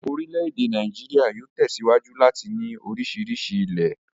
Orílẹ̀ èdè Nàíjíríà yóò tẹ̀síwájú láti ní oríṣiríṣi ilẹ̀.